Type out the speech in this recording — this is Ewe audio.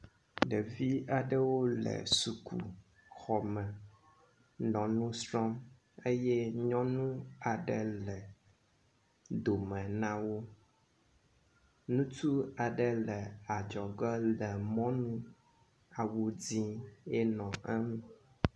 Ɖevi aɖewo le sukuxɔ me nɔ nu srɔ̃m eye nyɔnu aɖe le dome na wo. Ŋutsu aɖe le adzɔge le mɔnu, awu dzɛ̃ ye nɔ eŋu.